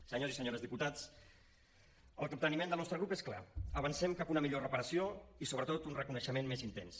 senyors i senyores diputats el capteniment del nostre grup és clar avancem cap a una millor reparació i sobretot un reconeixement més intens